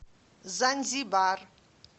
занзибар